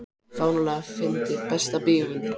fáránlega fyndið Besta bíómyndin?